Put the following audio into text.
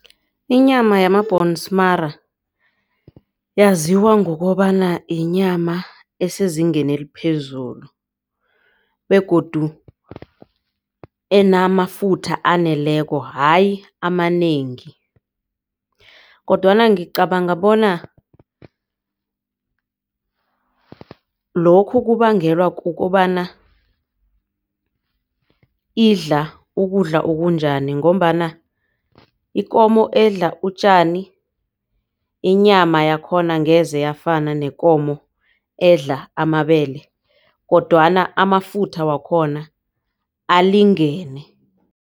Inyama yama-bhonsmara yaziwa ngokobana yinyama esezingeni eliphezulu begodu enamafutha aneleko hayi amanengi. Kodwana ngicabanga bona lokhu kubangelwa kukobana idla ukudla okunjani. Ngombana ikomo edla utjani inyama yakhona angeze yafana nekomo edla amabele kodwana amafutha wakhona alingene.